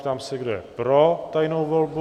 Ptám se, kdo je pro tajnou volbu?